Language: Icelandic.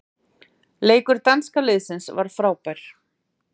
Leikur danska liðsins var frábær.